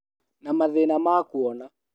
Na mathĩna ma kuona